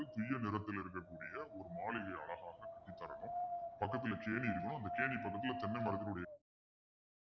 துய்ய நிறத்தில் இருக்கக்கூடிய ஒரு மாளிகை அழகாக கட்டித் தரணும் பக்கத்துல கேணி இருக்கணும் அந்த கேணி பக்கத்துல தென்னை மரத்தினுடைய